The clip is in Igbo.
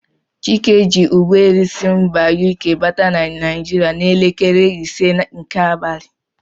Chike ji ụgbọelu si mba UK bata na Naijiria n'elekere ise nke abalị.